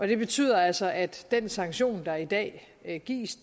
det betyder altså at den sanktion der i dag gives